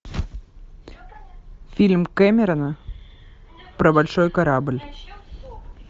фильм кэмерона про большой корабль